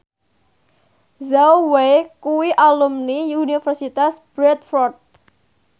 Zhao Wei kuwi alumni Universitas Bradford